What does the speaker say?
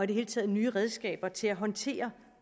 det hele taget nye redskaber til at håndtere